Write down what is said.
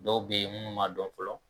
Dɔw bɛyi munnu ma dɔn fɔlɔ.